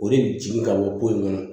O de bɛ jigin ka bɔ yen nɔ